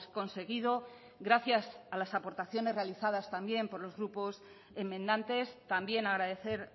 conseguido gracias a las aportaciones realizadas también por los grupos enmendantes también agradecer